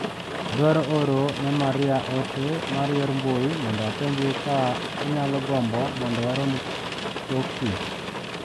Adwaro oro ne Maria ote mar yor mbui mondo apenje ka onyalo gombo mondo warom tok tich.